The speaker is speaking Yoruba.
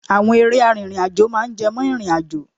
Àwọn eré arìnrìn-àjò máa ń jẹ mọ́ ìrìnàjò.